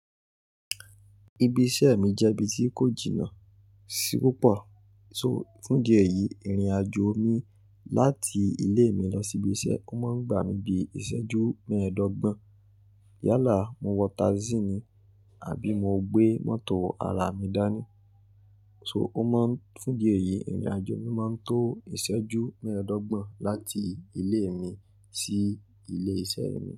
Ibi iṣẹ́ mi jẹ́ ibi tí kò jìnnà sí púpọ̀, so fún díẹ̀ yìí ìrìn-àjò mi láti ilé mi lọ sí ibi iṣẹ́, ó máa ń gba mi bíi ìṣẹ́jú mẹ́ẹ̀ẹ́dọ́gbọ̀n. Yálà, mo wọ táísíìnì àbí mo gbé mọ́tò ara mi dání. So ó máa ń-- fún idí ẹ̀yìí ìrìn-àjò mi máa ń tó ìṣẹ́jú mẹ́ẹ̀ẹ́dọ́gbọ̀n láti ilé mi sí ilé iṣẹ́ mi.